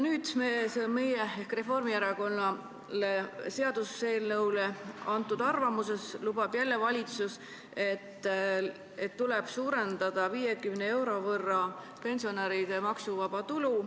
Meie ehk Reformierakonna seaduseelnõu kohta antud arvamuses lubab valitsus jälle, et tuleb suurendada 50 euro võrra pensionäride maksuvaba tulu.